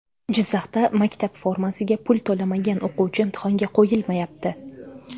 Jizzaxda maktab formasiga pul to‘lamagan o‘quvchi imtihonga qo‘yilmayapti.